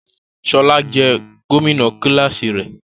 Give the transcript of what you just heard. Ṣọla jẹ gomina kilasi rẹ.